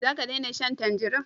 Za ka dena shan tanjari?